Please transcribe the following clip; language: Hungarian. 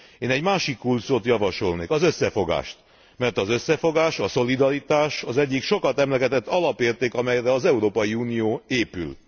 Én egy másik kulcsszót javasolnék, az összefogást, mert az összefogás, a szolidaritás az egyik sokat emlegetett alapérték, amelyre az Európai Unió épül.